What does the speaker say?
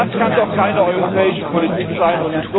Das kann doch keine europäische Politik sein!